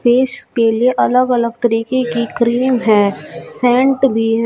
Face के लिए अलग-अलग तरीके की क्रीम है सेंट भी है।